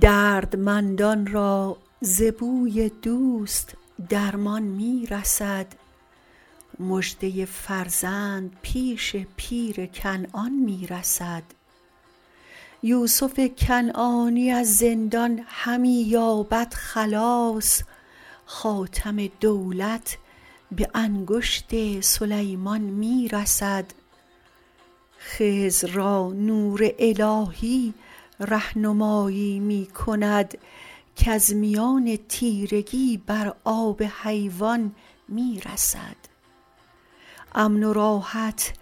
دردمندان را ز بوی دوست درمان می رسد مژدۀ فرزند پیش پیر کنعان می رسد یوسف کنعانی از زندان همی یابد خلاص خاتم دولت به انگشت سلیمان می رسد خضر را نور الهی رهنمایی می کند کز میان تیرگی بر آب حیوان می رسد امن و راحت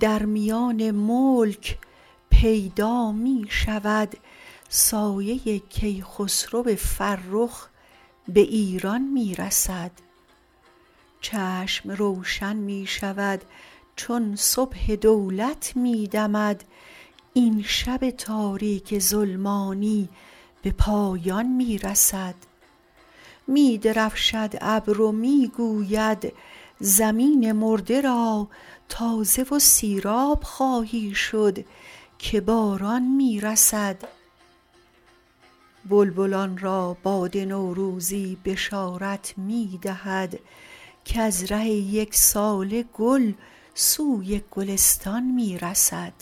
در میان ملک پیدا می شود سایه کیخسرو فرخ به ایران می رسد چشم روشن می شود چون صبح دولت می دمد این شب تاریک ظلمانی به پایان می رسد می درفشد ابر و می گوید زمین مرده را تازه و سیراب خواهی شد که باران می رسد بلبلان را باد نوروزی بشارت می دهد کز ره یک ساله گل سوی گلستان می رسد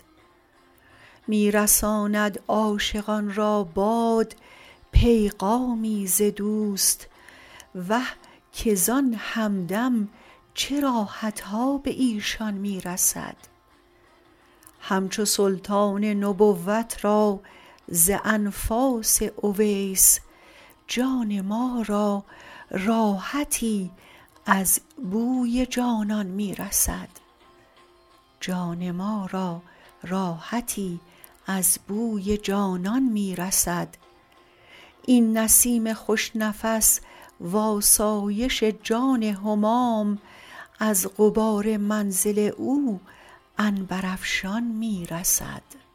می رساند عاشقان را باد پیغامی ز دوست وه که زان همدم چه راحت ها به ایشان می رسد همچو سلطان نبوت را ز انفاس اویس جان ما را راحتی از بوی جانان می رسد این نسیم خوش نفس و آسایش جان همام از غبار منزل او عنبرافشان می رسد